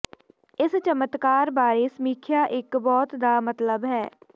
ਇਸ ਚਮਤਕਾਰ ਬਾਰੇ ਸਮੀਖਿਆ ਇੱਕ ਬਹੁਤ ਦਾ ਮਤਲਬ ਹੈ